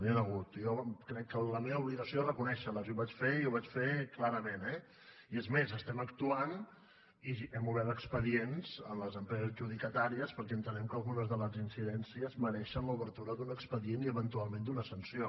n’hi han hagut i jo crec que la meva obligació és reconèixer les i ho vaig fer i ho vaig fer clarament eh i és més estem actuant i hem obert expedients a les empreses adjudicatàries perquè entenem que algunes de les incidències mereixen l’obertura d’un expedient i eventualment d’una sanció